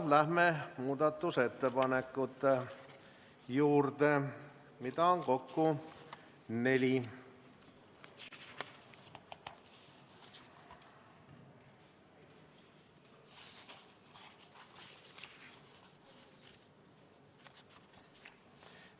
Läheme muudatusettepanekute juurde, neid on kokku neli.